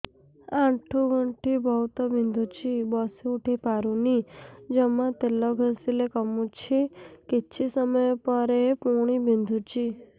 ଆଣ୍ଠୁଗଣ୍ଠି ବହୁତ ବିନ୍ଧୁଛି ବସିଉଠି ପାରୁନି ଜମା ତେଲ ଘଷିଲେ କମୁଛି କିଛି ସମୟ ପରେ ପୁଣି ବିନ୍ଧୁଛି